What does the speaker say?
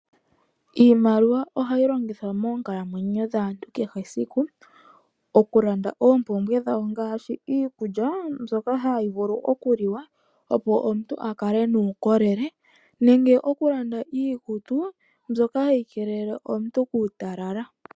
Iimaliwa ohayi longithwa moonkalamwenyo dhaantu kehe esiku, oku landa oompumbwe dhawo ngaashi iikulya mbyoka hayi vulu oku liwa opo omuntu a kale nuukolele nenge oku landa iikutu mbyoka hayi keelele omuntu kuutalala.